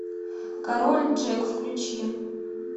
король джек включи